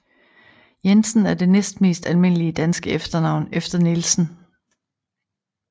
Jensen er det næstmest almindelige danske efternavn efter Nielsen